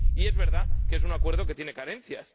Y es verdad que es un acuerdo que tiene carencias.